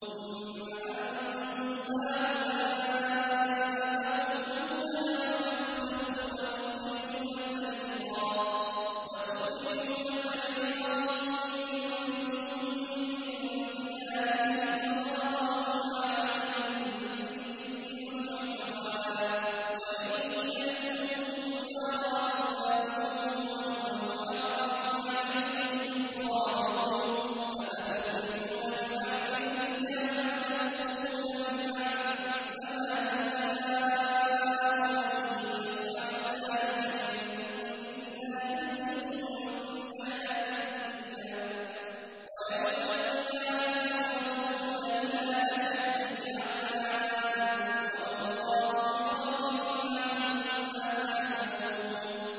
ثُمَّ أَنتُمْ هَٰؤُلَاءِ تَقْتُلُونَ أَنفُسَكُمْ وَتُخْرِجُونَ فَرِيقًا مِّنكُم مِّن دِيَارِهِمْ تَظَاهَرُونَ عَلَيْهِم بِالْإِثْمِ وَالْعُدْوَانِ وَإِن يَأْتُوكُمْ أُسَارَىٰ تُفَادُوهُمْ وَهُوَ مُحَرَّمٌ عَلَيْكُمْ إِخْرَاجُهُمْ ۚ أَفَتُؤْمِنُونَ بِبَعْضِ الْكِتَابِ وَتَكْفُرُونَ بِبَعْضٍ ۚ فَمَا جَزَاءُ مَن يَفْعَلُ ذَٰلِكَ مِنكُمْ إِلَّا خِزْيٌ فِي الْحَيَاةِ الدُّنْيَا ۖ وَيَوْمَ الْقِيَامَةِ يُرَدُّونَ إِلَىٰ أَشَدِّ الْعَذَابِ ۗ وَمَا اللَّهُ بِغَافِلٍ عَمَّا تَعْمَلُونَ